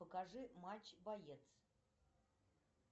покажи матч боец